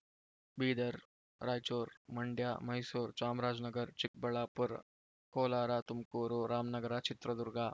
Bidar Raichur Mandya Mysore Chamarajanagar Chikkaballapur Kolar Tumakuru Ramanagara Chitradurga